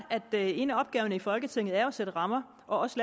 at en af opgaverne i folketinget jo er at sætte rammer og også